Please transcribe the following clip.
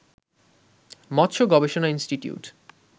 মৎস্য গবেষণা ইনষ্টিটিউট